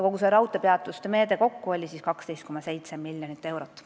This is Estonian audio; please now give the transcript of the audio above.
Kogu see raudteepeatuste meede hõlmab kokku 12,7 miljonit eurot.